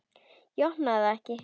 Ég opna það ekki.